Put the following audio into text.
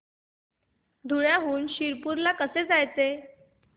धुळ्याहून शिरपूर ला कसे जायचे